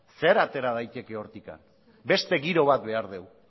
zer atera daiteke hortik beste giro bat behar dugu